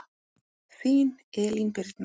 Þín Elín Birna.